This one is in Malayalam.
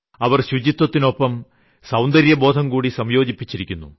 അവർ ശുചിത്വത്തിനൊപ്പം സൌന്ദര്യബോധംകൂടി സംയോജിപ്പിച്ചിരിക്കുന്നു